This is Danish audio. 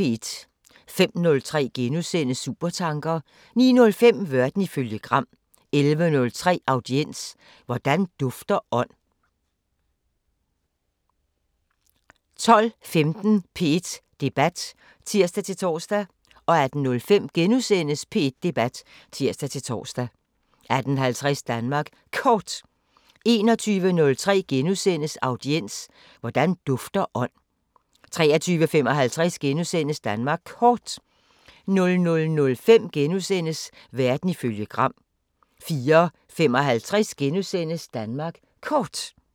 05:03: Supertanker * 09:05: Verden ifølge Gram 11:03: Audiens: Hvordan dufter ånd? 12:15: P1 Debat (tir-tor) 18:05: P1 Debat *(tir-tor) 18:50: Danmark Kort 21:03: Audiens: Hvordan dufter ånd? * 23:55: Danmark Kort * 00:05: Verden ifølge Gram * 04:55: Danmark Kort *